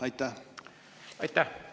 Aitäh!